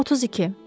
32.